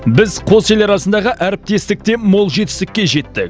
біз қос ел арасындағы әріптестікте мол жетістікке жеттік